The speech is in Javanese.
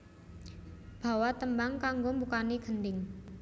Bawa tembang kanggo mbukani gendhing